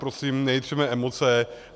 Prosím, nejitřeme emoce.